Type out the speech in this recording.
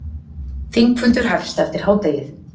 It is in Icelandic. Þingfundur hefst eftir hádegið